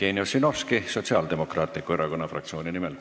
Jevgeni Ossinovski Sotsiaaldemokraatliku Erakonna fraktsiooni nimel.